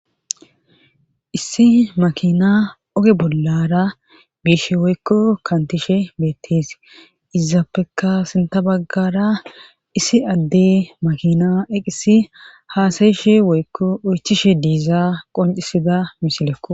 Issi makina oge bollara biishe woykko kantishe beettes izaapeka sinta baggara issi adde makina eqisi haasayishe woykko oychishe de'iza qoncisida misilekko.